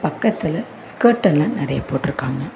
பக்கத்துல ஸ்கர்டெல்லா நறைய போட்ருக்காங்க.